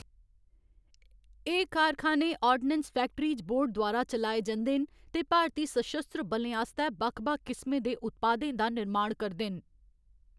एह्‌‌ कारखाने ordnance factories board द्वारा चलाए जंदे न, ते भारती सशस्त्र बलें आस्तै बक्ख बक्ख किसमें दे उत्पादें दा निर्माण करदे न।